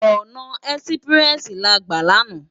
Òná èsipirèsi lá gbá làná